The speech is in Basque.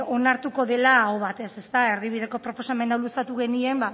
onartuko dela aho batez ezta erdibideko proposamen hau luzatu genien